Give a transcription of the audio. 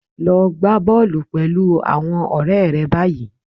Lo gbá bọ́ọ̀lù pẹ̀lú àwọn ọ̀rẹ́ rẹ báyìí